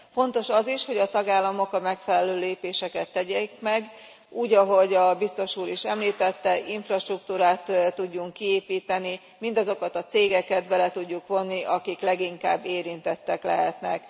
Fontos az is, hogy a tagállamok a megfelelő lépéseket tegyék meg. Úgy, ahogy a biztos úr is említette, infrastruktúrát tudjunk kiépíteni, mindazokat a cégeket bele tudjuk vonni, akik leginkább érintettek lehetnek.